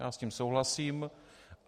Já s tím souhlasím.